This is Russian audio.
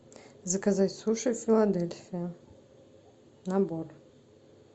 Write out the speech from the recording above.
заказать суши филадельфия набор